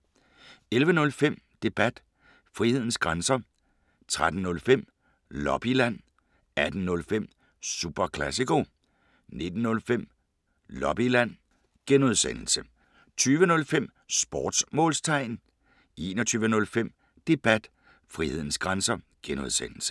11:05: Debat: Frihedens grænser 13:05: Lobbyland 18:05: Super Classico 19:05: Lobbyland (G) 20:05: Sportsmålstegn 21:05: Debat: Frihedens grænser (G)